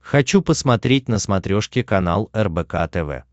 хочу посмотреть на смотрешке канал рбк тв